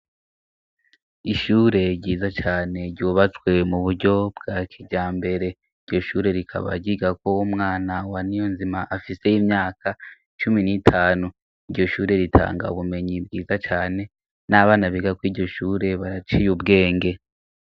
Ishure ryiza cane ryubatswe mu buryo bwa kija mbere iryo shure rikabagiga ko wo mwana wa ni yo nzima afiseyo imyaka cumi n'itanu iryo shure ritanga ubumenyi bwiza cane n'abanabiga ko iryo shure baraciye ubwenge.